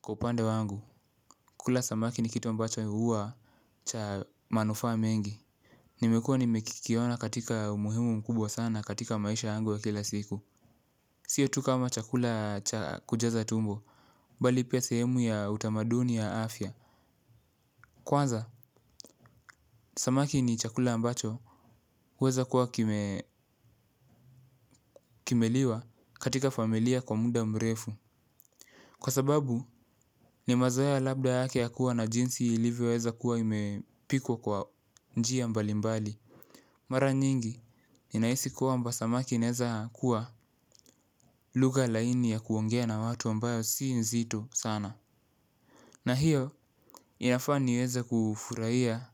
Kwa upande wangu, kula samaki ni kitu ambacho huwa cha manufaa mengi. Nimekuwa nimekikiona katika umuhimu mkubwa sana katika maisha yangu ya kila siku. Siyo tu kama chakula cha kujaza tumbo, bali pia sehemu ya utamaduni ya afya. Kwanza, samaki ni chakula ambacho huweza kuwa kimeliwa katika familia kwa muda mrefu. Kwa sababu, ni mazoea labda yake ya kuwa na jinsi ilivyo weza kuwa imepikwa kwa njia mbalimbali. Mara nyingi ninahisi kwamba samaki inaeza kuwa lugha laini ya kuongea na watu ambayo si nzito sana. Na hiyo inafaa niweza kufurahia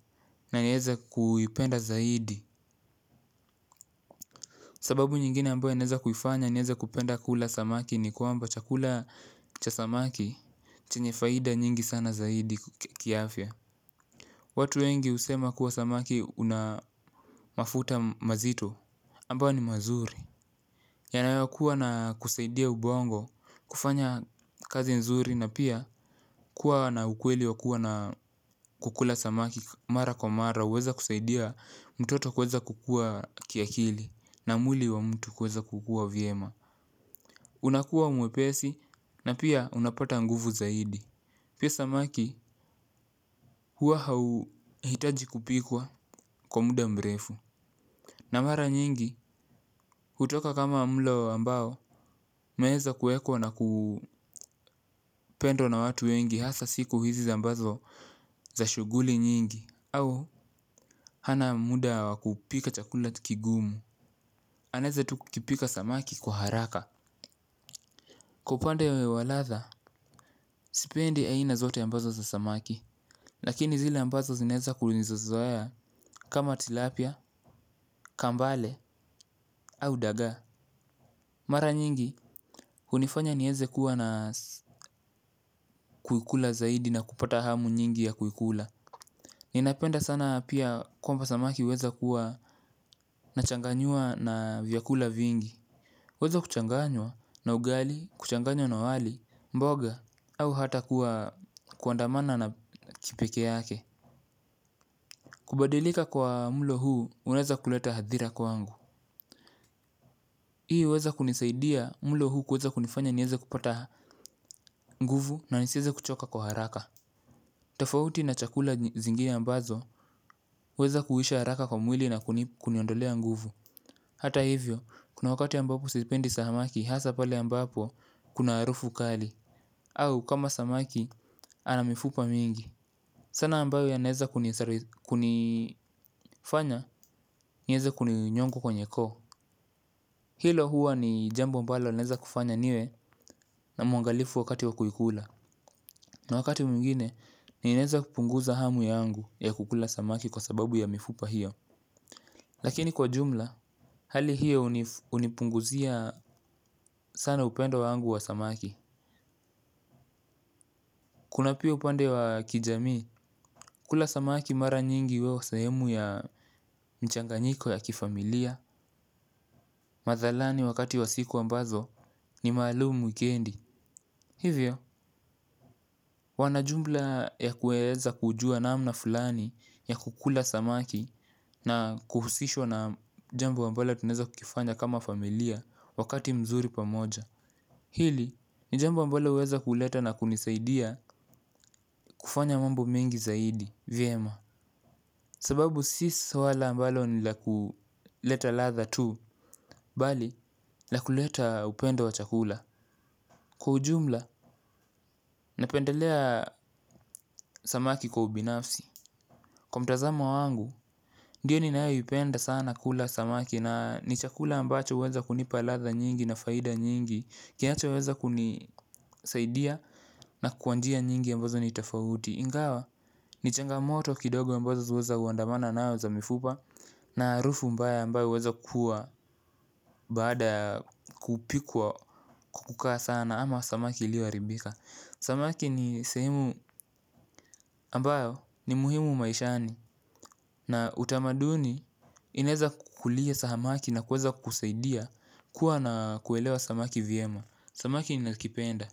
na nieza kuipenda zaidi. Sababu nyingine ambayo inaweza kuifanya niweza kupenda kula samaki ni kwamba chakula cha samaki chenye faida nyingi sana zaidi kiafya. Watu wengi husema kuwa samaki una mafuta mazito ambayo ni mazuri. Yanayo kuwa na kusaidia ubongo, kufanya kazi nzuri na pia kuwa na ukweli wa kuwa na kukula samaki mara kwa mara huweza kusaidia mtoto kuweza kukuwa kiakili na mwili wa mtu kuweza kukua vyema. Unakuwa mwepesi na pia unapata nguvu zaidi pia samaki huwa hauhitaji kupikwa kwa muda mrefu. Na mara nyingi, kutoka kama mlo ambao, umeweza kuwekwa na kupendwa na watu wengi hasa siku hizi ambazo za shughuli nyingi au hana muda wa kupika chakula kigumu anaweza tu kupika samaki kwa haraka. Kwa upande wa ladha, sipendi aina zote ambazo za samaki. Lakini zile ambazo zinaweza kulinizazwaya kama tilapia, kambale, au daga. Mara nyingi hunifanya niweze kuwa na kuikula zaidi na kupata hamu nyingi ya kuikula. Ninapenda sana pia kwamba samaki huweza kuwa na changanywa na vyakula vingi huweza kuchanganywa na ugali, kuchanganywa na wali, mboga au hata kuwa kuandamana na kipekee yake. Kubadilika kwa mlo huu unaweza kuleta hadhira kwangu hii huweza kunisaidia mlo huu kuweza kunifanya niweze kupata nguvu na nisiweze kuchoka kwa haraka. Tofauti na chakula zingine ambazo huweza kuisha haraka kwa mwili na kuniondolea nguvu. Hata hivyo, kuna wakati ambapo sipendi samaki hasa pale ambapo kuna harufu kali. Au kama samaki ana mifupa mingi sana ambayo yanaeza kunifanya niweza kuni nyongo kwenye koo. Hilo huwa ni jambo ambalo linaweza kufanya niwe mwangalifu wakati wa kuikula. Na wakati mwingine, ninaweza kupunguza hamu yangu ya kukula samaki kwa sababu ya mifupa hiyo. Lakini kwa jumla, hali hiyo hunipunguzia sana upendo wangu wa samaki. Kuna pia upande wa kijami, kula samaki mara nyingi weo sahemu ya mchanganyiko ya kifamilia. Madhalani wakati wa siku ambazo ni maalum wikendi hivyo wana jumla ya kuweza kujua namna fulani ya kukula samaki na kuhusishwa na jambo ambalo tunaweza kukifanya kama familia wakati mzuri pamoja. Hili, ni jambo ambalo huweza kuleta na kunisaidia kufanya mambo mengi zaidi, vyema. Sababu si swala ambalo ni la kuleta ladha tu, bali la kuleta upendo wa chakula. Kwa ujumla, napendelea samaki kwa ubinafsi. Kwa mtazamo wangu, ndiyo ninaayo upenda sana kula samaki. Na ni chakula ambacho uweza kunipalatha nyingi na faida nyingi. Kienacho uweza kunisaidia na kuwanjia nyingi ambazo ni itafaudi. Ingawa, ni changamoto kidogo ambazo uweza uwandamana na uza mifupa na harufu mbaya ambayo huweza kuwa baada ya kupikwa kukaa sana ama samaki iliyo haribika. Samaki ni sehemu ambayo ni muhimu maishani na utamaduni inaeza kukulia samaki na kuweza kukusaidia kuwa na kuelewa samaki vyema. Samaki nina kipenda.